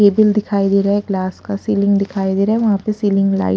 cable दिखाई दे रहा है ग्लास का सीलिंग दिखाई दे रहा है वहां पे सीलिंग लाइड --